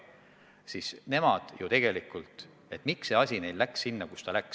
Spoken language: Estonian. Miks see asi läks neil sinna, kuhu ta läks?